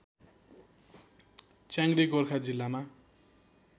च्याङली गोर्खा जिल्लामा